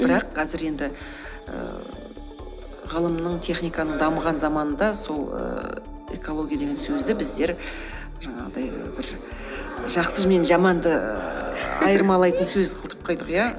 бірақ қазір енді ііі ғылымның техниканың дамыған заманында сол ііі экология деген сөзді біздер жаңағыдай бір жақсы мен жаманды ііі айырмалайтын сөз қылдырып қойдық иә